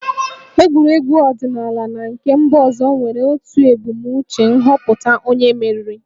Egwuregwu ọdịnala na nke mba ọzọ nwere otu ebumnuche - nhọpụta onye mmeri